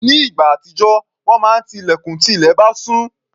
Nígbà àtijọ́, wọ́n máa ti ilẹ̀kùn tí ilẹ̀ bá ṣú.